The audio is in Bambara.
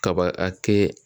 Kaba a kɛ.